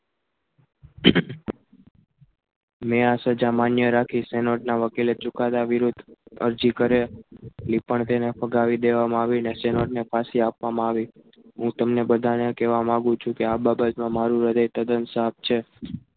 નેહા સજા માન્ય રાખી શેનોટના વકીલે ચુકાદા વિરુદ્ધ અરજી કરે લી પણ તેને ફગાવી દેવામાં આવી શેના વડે ને પાછી આપવામાં આવી હું તમને બધાને કહેવા માગું છું કે આ બાબતમાં મારું હૃદય તદ્દન સાપ છે.